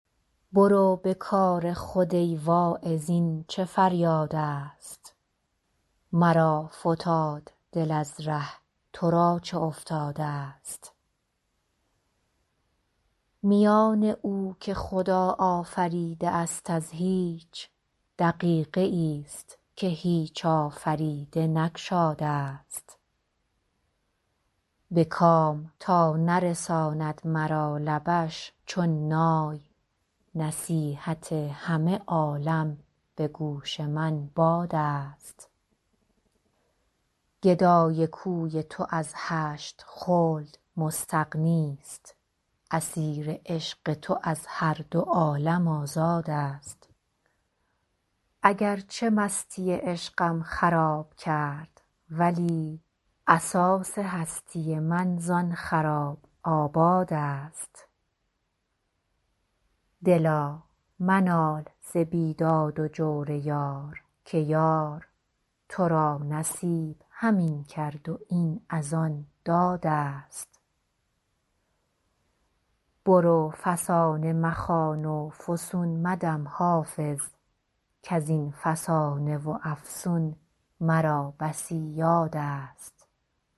برو به کار خود ای واعظ این چه فریادست مرا فتاد دل از ره تو را چه افتادست میان او که خدا آفریده است از هیچ دقیقه ای ست که هیچ آفریده نگشادست به کام تا نرساند مرا لبش چون نای نصیحت همه عالم به گوش من بادست گدای کوی تو از هشت خلد مستغنی ست اسیر عشق تو از هر دو عالم آزادست اگر چه مستی عشقم خراب کرد ولی اساس هستی من زآن خراب آبادست دلا منال ز بیداد و جور یار که یار تو را نصیب همین کرد و این از آن دادست برو فسانه مخوان و فسون مدم حافظ کز این فسانه و افسون مرا بسی یادست